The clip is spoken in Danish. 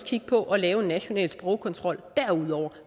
kigge på at lave en national sprogkontrol